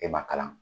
E ma kalan